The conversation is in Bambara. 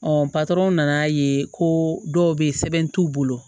nan'a ye ko dɔw bɛ yen sɛbɛn t'u bolo